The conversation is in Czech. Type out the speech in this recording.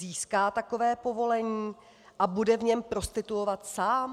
Získá takové povolení a bude v něm prostituovat sám?